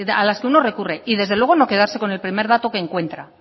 a las que uno recurre y desde luego no quedarse con el primer dato que encuentra